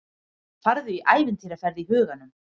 Farðu í ævintýraferð í huganum.